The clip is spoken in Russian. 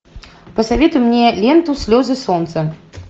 посоветуй мне ленту слезы солнца